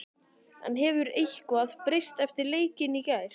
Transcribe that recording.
En hefur eitthvað breyst eftir leikinn í gær?